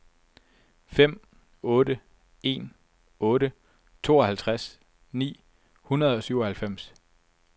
fem otte en otte tooghalvtreds ni hundrede og syvoghalvfems